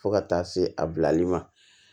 Fo ka taa se a bilali ma